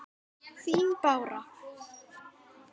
Þín Bára.